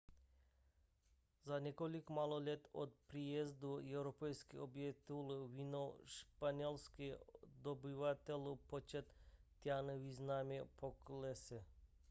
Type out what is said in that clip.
za několik málo let od příjezdu evropských objevitelů vinou španělských dobyvatelů počet taínů významně poklesl